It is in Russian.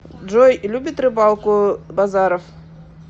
джой любит рыбалку базаров